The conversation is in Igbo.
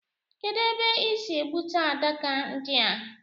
Kedụ ebe ị sị egbute adaka ndi a